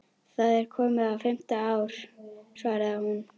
Það er komið á fimmta ár, svaraði hún.